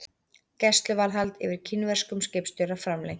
Gæsluvarðhald yfir kínverskum skipstjóra framlengt